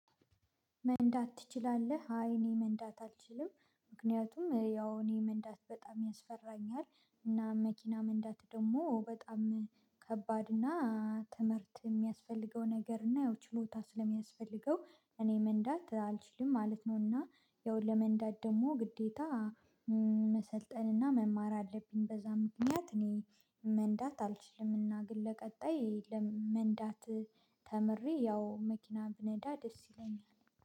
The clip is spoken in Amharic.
መንዳት ትችላለህ? አይ እኔ መንዳት አልችልም ምክንያቱም ያው እኔ መንዳት በጣም ያስፈራኛል እና መኪና መንዳቱ ደግሞ በጣም ከባድ እና ትምህርት የሚያስፈልገው ነገር እና ይኸው ችሎታ ስለሚያስፈልገው እኔ መንዳት አልችልም ማለት ነው። እና ያው ለመንዳት ደግሞ ግዴታ መሰልጠንና መማር አለብኝ። በዛ ምክንያት እኔ መንዳት አልችልም እና ግን ለቀጣይ መንዳት ተምሬ ያው መኪና ብነዳ ደስ ይለኛል